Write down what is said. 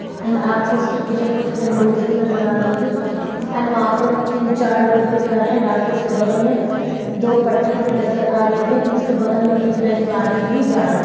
and अपको उसके पीछे कुछ विंडोज़ भी नजर आ रही होगी एंड वहाँ पे तीन चार लोग भी खड़े आपको उसके बगल में दो पटरी भी नजर आ रही होगी एंड उसके बगल में एक रेल गाड़ी भी जा रही --